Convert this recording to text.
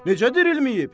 Necə dirilməyib?